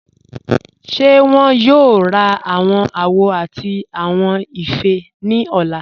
Ṣé wọn yóò rá awọn àwò àti awọn ifẹ́ ni ọ̀lá?